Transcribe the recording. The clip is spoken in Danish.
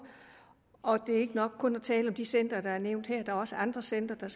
og det er ikke nok kun at tale om de centre der er nævnt her der er også andre centre der